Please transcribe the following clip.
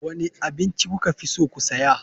Wane abinci kuka fi so ku saya.